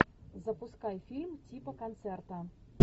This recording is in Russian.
запускай фильм типа концерта